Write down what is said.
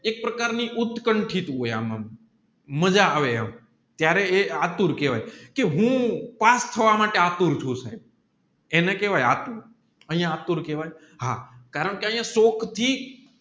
એક પ્રકારની ઉત્કથિન હોય આમ મજા આવે એમ ત્યારે એ આતુર કહેવાય કે હું પાસ થવા માટે એસ્ટર ચુ સાહેબ એને કેહવાય આતુર એને આતુર કેહવાય કારણકે શોક થી